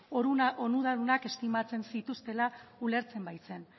onuradunak estimatzen zituztela ulertzen baitzen